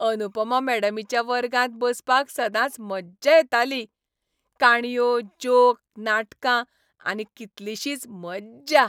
अनुपमा मॅडमीच्या वर्गांत बसपाक सदांच मज्जा येताली. काणयो, जोक, नाटकां आनी कितलिशीच मज्जा!